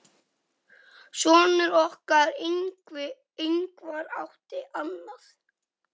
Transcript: Sonur okkar, Ingvar, átti annað.